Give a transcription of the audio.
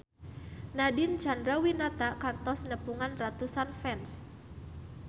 Nadine Chandrawinata kantos nepungan ratusan fans